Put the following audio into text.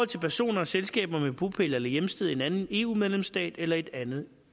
til personer og selskaber med bopæl eller hjemsted i en anden eu medlemsstat eller i et andet